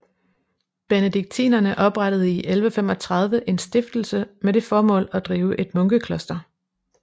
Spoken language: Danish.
Benediktinerne oprettede i 1135 en Stiftelse med det formål at drive et munkekloster